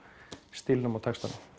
stílnum og textanum